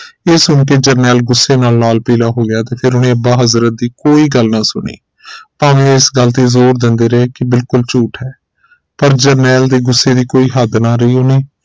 ਇਹ ਸੁਣਕੇ ਜਰਨੈਲ ਗੁੱਸੇ ਨਾਲ ਲਾਲ ਪੀਲਾ ਹੋ ਗਿਆ ਤੇ ਫਿਰ ਉਹਨੇ ਅੱਬਾ ਹਜ਼ਰਤ ਦੀ ਕੋਈ ਗੱਲ ਨਾ ਸੁਣੀ ਭਾਵੇਂ ਇਸ ਗੱਲ ਤੇ ਜ਼ੋਰ ਦਿੰਦੇ ਰਹੇ ਇਹ ਬਿਲਕੁਲ ਝੂਠ ਹੈਪਰ ਜਰਨੈਲ ਦੇ ਗੁੱਸੇ ਦੀ ਕੋਈ ਹੱਦ ਨਾ ਰਹੀ ਉਨ੍ਹੇ